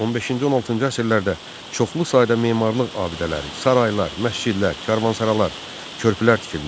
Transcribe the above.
15-ci, 16-cı əsrlərdə çoxlu sayda memarlıq abidələri, saraylar, məscidlər, karvansaralar, körpülər tikilmişdi.